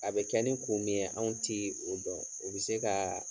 A bɛ kɛ ni kun mi ye anw tee o dɔn. O be se kaa